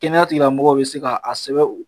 Kɛnɛya tigi lamɔgɔw bɛ se ka a sɛbɛn